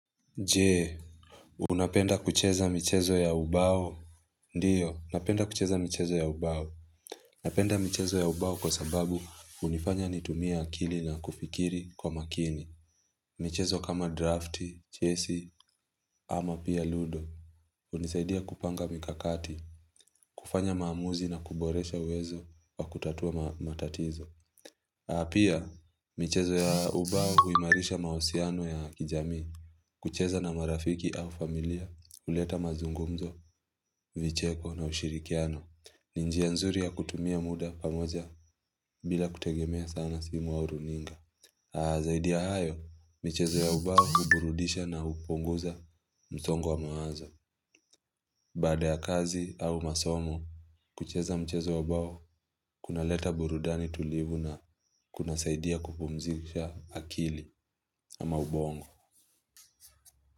Je, unapenda kucheza michezo ya ubao? Ndiyo, unapenda kucheza michezo ya ubao. Napenda michezo ya ubao kwa sababu hunifanya nitumia akili na kufikiri kwa makini. Michezo kama drafti, chesi, ama pia ludo. Hunisaidia kupanga mikakati, kufanya maamuzi na kuboresha uwezo wa kutatua matatizo. Na pia, michezo ya ubao huimarisha mahusiano ya kijamii. Kucheza na marafiki au familia, huleta mazungumzo, vicheko na ushirikiano. Ni njia nzuri ya kutumia muda pamoja bila kutegemea sana simu au runinga. Zaidi ya hayo, michezo ya ubao huburudisha na hupunguza msongo wa mawazo. Bada ya kazi au masomo, kucheza mchezo wa ubao kuna leta burudani tulivu na kunasaidia kupumzisha akili na maubongo.